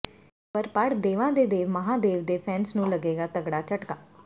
ਇਹ ਖ਼ਬਰ ਪੜ੍ਹ ਦੇਵਾਂ ਦੇ ਦੇਵ ਮਹਾਂਦੇਵ ਦੇ ਫੈਨਸ ਨੂੰ ਲੱਗੇਗਾ ਤਗੜਾ ਝਟਕਾ